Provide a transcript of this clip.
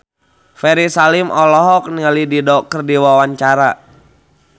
Ferry Salim olohok ningali Dido keur diwawancara